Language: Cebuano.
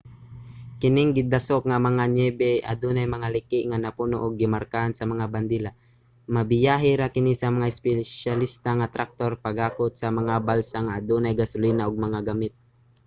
kining gidasok nga mga niyebe adunay mga liki nga napuno ug gimarkahan sa mga bandila. mabiyahe ra kini sa mga espesyalista nga traktor paghakot sa mga balsa nga adunay gasolina ug mga gamit